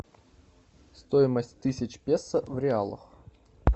стоимость тысячи песо в реалах